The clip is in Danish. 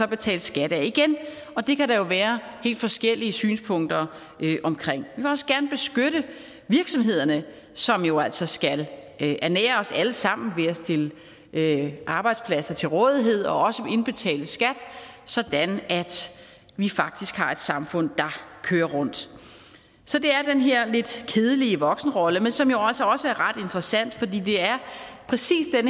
betales skat af og det kan der jo være helt forskellige synspunkter omkring vil også gerne beskytte virksomhederne som jo altså skal ernære os alle sammen ved at stille arbejdspladser til rådighed og også indbetale skat sådan at vi faktisk har et samfund der kører rundt så det er den her lidt kedelige voksenrolle men som jo også er ret interessant for det er præcis den